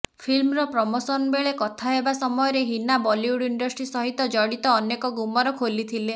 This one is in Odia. ଫିଲ୍ମର ପ୍ରମୋସନ ବେଳେ କଥା ହେବା ସମୟରେ ହିନା ବଲିଉଡ ଇଣ୍ଡଷ୍ଟ୍ରୀ ସହିତ ଜଡିତ ଅନେକ ଗୁମର ଖୋଲିଥିଲେ